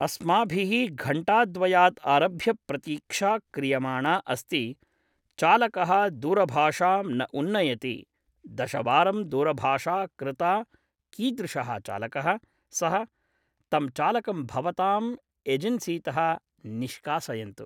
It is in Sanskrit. अस्माभिः घण्टाद्वयात् आरभ्य प्रतीक्षा क्रियमाणा अस्ति चालकः दूरभाषां न उन्नयति दशवारं दूरभाषा कृता कीदृशः चालकः सः तं चालकं भवताम् एजन्सितः निश्कासयन्तु